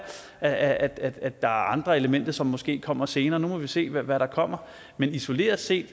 at at der er andre elementer som måske kommer senere nu må vi se hvad der kommer men isoleret set